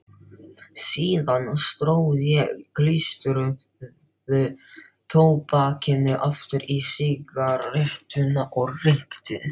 Síðan tróð ég klístruðu tóbakinu aftur í sígarettuna og reykti.